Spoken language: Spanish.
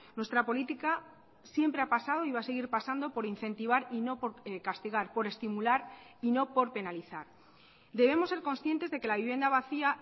nuestra política siempre ha pasado y va a seguir pasando por incentivar y no por castigar por estimular y no por penalizar debemos ser conscientes de que la vivienda vacía